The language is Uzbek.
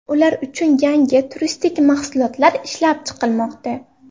Ular uchun yangi turistik mahsulotlar ishlab chiqilmoqda.